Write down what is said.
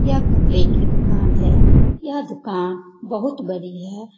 यह कपड़े की दुकान है यह दुकान बहुत बड़ी है।